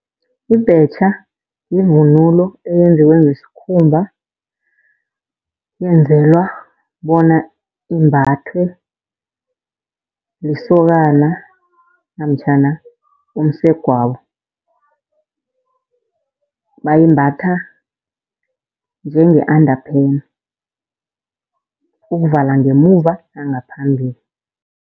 Ibhetjha yivunulo eyenziwe ngesikhumba, yenzelwa bona imbathwe lisokana namtjhana umsegwabo. Bayimbatha njenge-underpant ukuvala ngemuva nangaphambili.